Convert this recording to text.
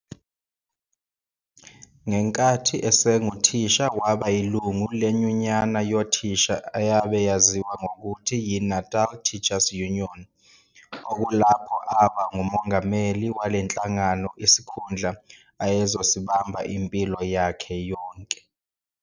Ngenkathi esenguthisha waba yilungu lenyunyana yothisha ayabe yaziwa ngokuthi yi-"Natal Teachers Union" okulapho aba ngumongameli walenhlangano isikhundla ayezosibamba impilo yakhe yonke.